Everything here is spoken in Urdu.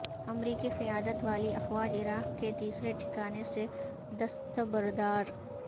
امریکی قیادت والی افواج عراق کے تیسرے ٹھکانے سے دستبردار